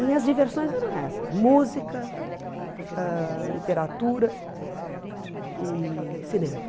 Minhas diversões eram essas, música, ãh literatura e cinema.